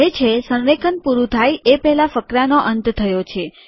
તે કહે છે સંરેખન પૂરું થાય એ પહેલા ફકરાનો અંત થયો છે